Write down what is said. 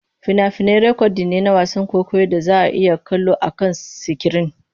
Fina-finai rikodin ne na wasan kwaikwayon da za a iya kallo akan sikirin.